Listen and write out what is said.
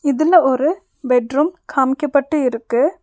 இதுல ஒரு பெட்ரூம் காமிக்கப்பட்டு இருக்கு.